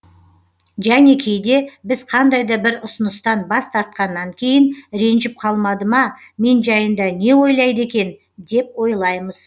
және кейде біз қандай да бір ұсыныстан бас тартқаннан кейін ренжіп қалмады ма мен жайында не ойлайды екен деп ойлаймыз